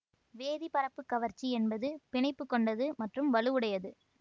வேதி பரப்புக் கவர்ச்சி என்பது பிணைப்புகொண்டது மற்றும் வலுவுடையது